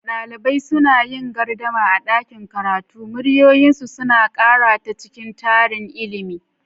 Dalibai suna yin gardama a ɗakin karatu, muryoyinsu suna ƙara ta cikin tarin ilimin.